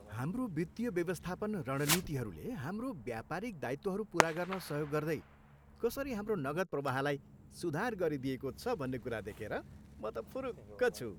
हाम्रो वित्तीय व्यवस्थापन रणनीतिहरूले हाम्रो व्यापारिक दायित्वहरू पुरा गर्न सहयोग गर्दै कसरी हाम्रो नगद प्रवाहलाई सुधार गरिदिएको छ भन्ने कुरा देखेर म त फुरुक्क छु।